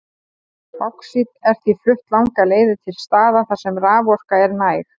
Báxít er því flutt langar leiðir til staða þar sem raforka er næg.